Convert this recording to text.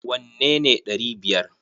Wanne ne ɗari biyar!